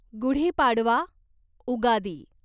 Gudi Padwa, Ugadi